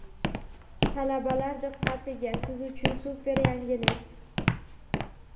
Talabalar diqqatiga, Siz uchun super yangilik!.